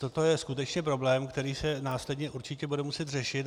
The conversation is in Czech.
Toto je skutečně problém, který se následně určitě bude muset řešit.